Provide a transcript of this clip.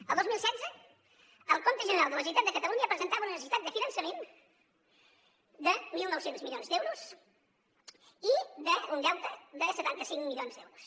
el dos mil setze el compte general de la generalitat de catalunya presentava una necessitat de finançament de mil nou cents milions d’euros i un deute de setanta cinc milions d’euros